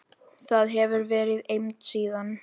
Þar hefur verið eymd síðan.